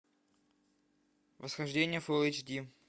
восхождение фулл эйч ди